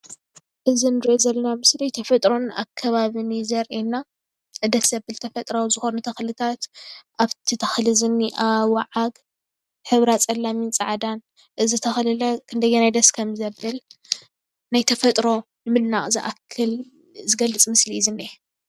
እዚ ንሪኦ ዘለና ምስሊ ተፈጥሮን ኣከባቢን እዩ:: ዘርእየና ደስ ዘብል ተፈጥራዊ ዝኮኑ ተክልታትን ኣብቲ ተክሊ ዝኒኣ ወዓግ ሕብራ ፀላምን ፃዕዳን እዚ ተክሊ ክንደየናይ ደስ ከም ዝብል ናይ ተፈጥሮ ምድናቅ ዝኣክል ዝገልፅ ምስሊ እየ ዝኒሄ።